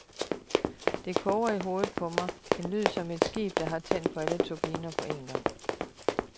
Det koger i hovedet på mig, en lyd som et skib, der har tændt for alle turbiner på en gang.